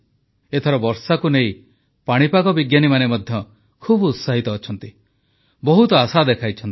ଏଥର ବର୍ଷାକୁ ନେଇ ପାଣିପାଗ ବିଜ୍ଞାନୀମାନେ ମଧ୍ୟ ଖୁବ୍ ଉତ୍ସାହିତ ଅଛନ୍ତି ବହୁତ ଆଶା ଦେଖାଇଛନ୍ତି